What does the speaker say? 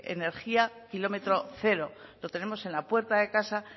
energía kilómetro cero lo tenemos en la puerta de casa